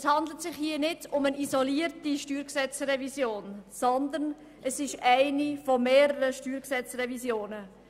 Es handelt sich nicht um eine isolierte StG-Revision, sondern es ist eine von mehreren Revisionen.